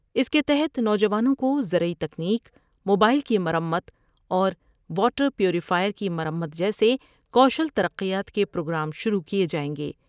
اس کے تحت نوجوانوں کو زرعی تکنیک ، موبائل کی مرمت اور واٹر پیوریفائر کی مرمت جیسےکوشل ترقیات کے پروگرام شروع کئے جائیں گے ۔